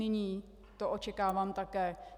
Nyní to očekávám také.